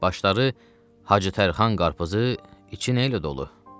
Başları Hacı Tərxan qarpuızı iç nə ilə dolu.